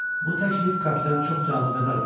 Bu təklif kapitana çox cazibədar göründü.